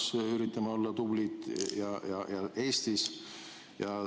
Me üritame olla Euroopas tublid ja Eestis ka.